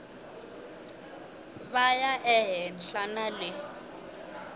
va ya ehenhla na le